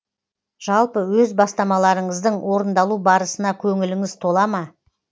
жалпы өз бастамаларыңыздың орындалу барысына көңіліңіз тола ма